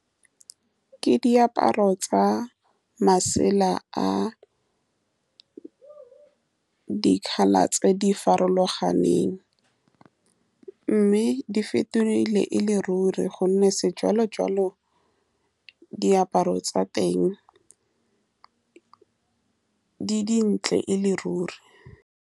Ke diaparo tsa masela a dikgala tse di farologaneng, mme di fetogile e le ruri ka gonne sejalo-jwalo diaparo tsa teng di dintle e le ruri.